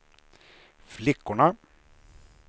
flickorna